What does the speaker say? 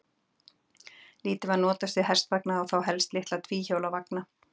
Lítið var notast við hestvagna og þá helst litla tvíhjóla vagna.